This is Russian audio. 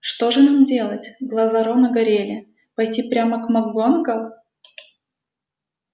что же нам делать глаза рона горели пойти прямо к макгонагалл